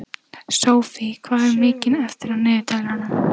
Sophie, hvað er mikið eftir af niðurteljaranum?